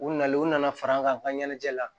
U nalen u nana fara an kan an ka ɲɛnajɛ la